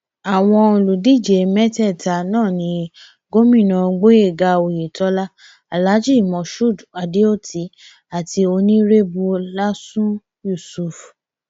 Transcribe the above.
àwọn olùdíje mẹtẹẹta náà ní gómìnà gboyega oyetola alhaji moshood adeoti àti onírèbù lásun yusuf